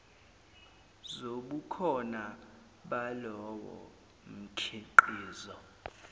zobukhona balowo mkhiqizo